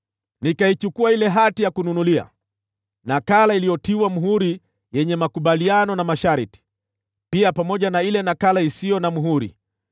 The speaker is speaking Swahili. Nikachukua ile hati ya kununulia, nakala iliyotiwa muhuri yenye makubaliano na masharti, pia pamoja na ile nakala isiyo na muhuri,